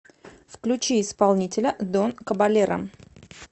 включи исполнителя дон кабалеро